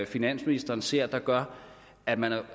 finansministeren ser der gør at man